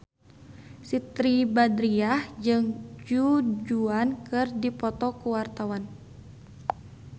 Siti Badriah jeung Du Juan keur dipoto ku wartawan